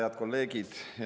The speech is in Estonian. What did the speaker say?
Head kolleegid!